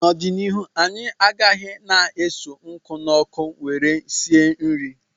N'ọdịnihu anyị agaghị na-eso nkụ n'ọkụ nwere esi nri